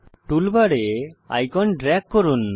টুলবারে icon drag করুন